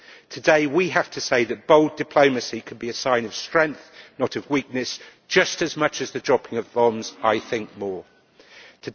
Today we have to say that bold diplomacy could be a sign of strength, not of weakness, just as much as the dropping of bombs and, I think, more so.